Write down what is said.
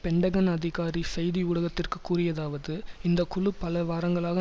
Pentagon அதிகாரி செய்தி ஊடகத்திற்கு கூறியதாவது இந்தக்குழு பல வாரங்களாக